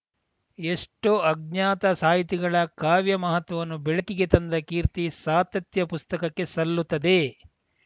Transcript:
ಎಷ್ಟೋ ಅಜ್ಞಾತ ಸಾಹಿತಿಗಳ ಕಾವ್ಯ ಮಹತ್ವವನ್ನು ಬೆಳಕಿಗೆ ತಂದ ಕೀರ್ತಿ ಸಾತತ್ಯ ಪುಸ್ತಕಕ್ಕೆ ಸಲ್ಲುತ್ತದೆ